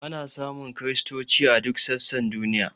Ana samun kristoci a duk sassan duniya.